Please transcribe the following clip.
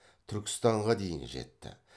түркістанға дейін жетті